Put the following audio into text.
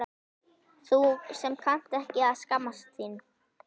Þú sem kannt ekki að skammast þín.